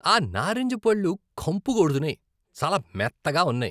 ఆ నారింజ పళ్ళు కంపు కొడుతున్నాయి, చాలా మెత్తగా ఉన్నాయి.